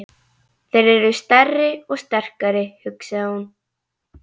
Þeir eru stærri og sterkari, hugsaði hún.